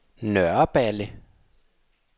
Nørreballe